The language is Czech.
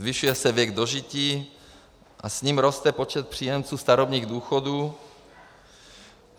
Zvyšuje se věk dožití a s ním roste počet příjemců starobních důchodů.